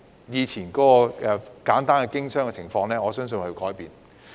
以前簡單的經商情況，我相信已有所改變。